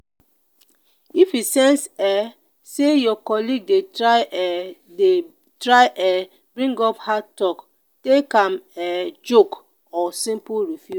if you sense um say your colleague de try um de try um bring up the heart talk take am um joke or simple refuse